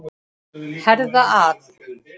Herða að.